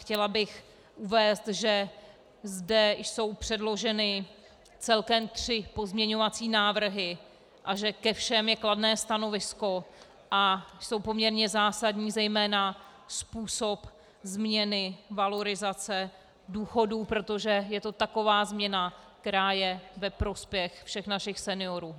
Chtěla bych uvést, že zde jsou předloženy celkem tři pozměňovací návrhy a že ke všem je kladné stanovisko a jsou poměrně zásadní, zejména způsob změny valorizace důchodů, protože je to taková změna, která je ve prospěch všech našich seniorů.